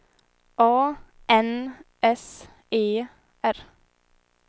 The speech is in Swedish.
A N S E R